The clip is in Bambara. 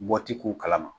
Bɔti k'u kalama